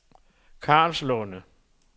Karlslunde